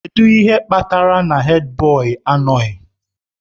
Kedu ihe kpatara na Hèdbọyi anọghị?